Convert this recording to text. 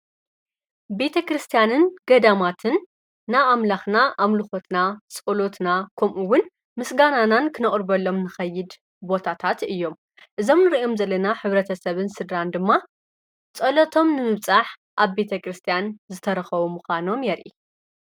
ቤተ ክርስቲያንን ገዳማትን ና ኣምላኽና ኣምልኾትና ጸሎትና ከምኡውን ምስጋናናን ክነቕርበሎም ንኸይድ ቦታታት እዮም እዞምን ርኦም ዘለና ኅብረተ ሰብን ሥድራን ድማ ጸሎቶም ንምብጻሕ ኣብ ቤተ ክርስቲያን ዝተረኸዉ ምዃኖም የርኢ።